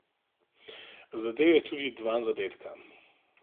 Zadel je tudi dva zadetka.